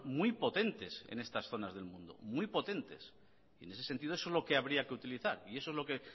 muy potentes en estas zonas del mundo muy potentes y en ese sentido eso es lo que habría que utilizar y eso es lo que